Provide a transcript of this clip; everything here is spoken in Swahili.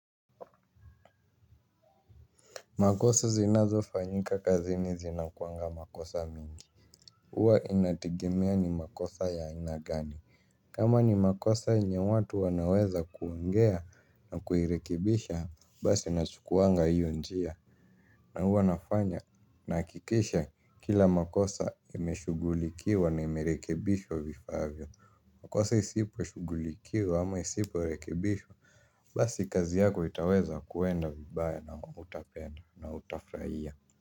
Makosa zinazo fanyika kazini zinakuanga makosa mingi huwa inategemea ni makosa ya aina gani. Kama ni makosa yenye watu wanaweza kuongea na kuirekibisha basi nachukuanga hiyo njia. Na huwa nafanya nahakikisha kila makosa imeshugulikiwa na imerekebishwa vifaavyo. Makosa isipo shugulikiwa ama isipo rekebishwa basi kazi yako itaweza kuenda vibaya na hutapenda na hutafurahia.